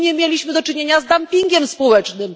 Czy nie mieliśmy tu do czynienia z dumpingiem społecznym?